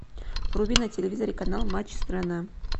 вруби на телевизоре канал матч страна